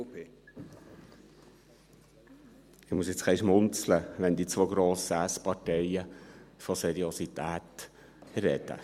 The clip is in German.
Ich muss ein bisschen schmunzeln, wenn die beiden grossen S-Parteien von Seriosität sprechen.